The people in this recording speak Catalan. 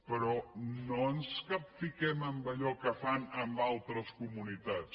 però no ens capfiquem en allò que fan en altres comunitats